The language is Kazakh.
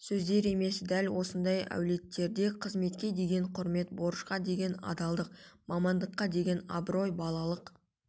сөздер емес дәл осындай әулеттерде қызметке деген құрмет борышқа деген адалдық мамандыққа деген абырой балалық